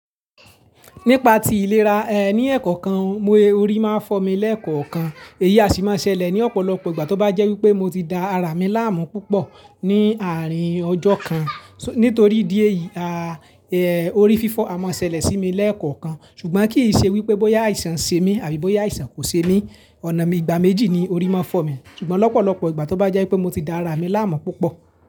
Nípa ti ìlera, ẹ, ní ẹ̀kọ́ kan mo rí máa fọ́ mi lẹ́ẹ̀kọ́ kan. Èyí a sì máa ṣẹlẹ̀ ní ọ̀pọ̀lọpọ̀ ìgbà tó bá jẹ́ wípé mo ti da ara mi láàmú púpọ̀ ní àárín ọjọ́ kan. Nítorí idí ẹ̀yìí, orí fífọ́ a máa ṣẹlẹ̀ sí mi lẹ́ẹ̀kọ́ kan. Ṣùgbọ́n kì í ṣe wípé bóyá àìsàn ń ṣe mí àbí bóyá àìsàn kò ṣe mí. Ọ̀nà mi ìgbà méjì ni orí máa fọ́ mi. Ṣùgbọ́n lọ́pọ̀lọpọ̀ ìgbà tó bá jẹ́ wípé mo ti da ara mi láàmú púpọ̀